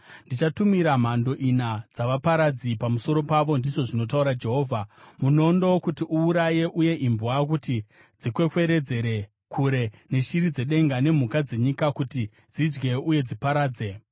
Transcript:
“Ndichatumira mhando ina dzavaparadzi pamusoro pavo,” ndizvo zvinotaura Jehovha, “munondo kuti uuraye uye imbwa kuti dzikwekweredzere kure, neshiri dzedenga nemhuka dzenyika kuti dzidye uye dziparadze.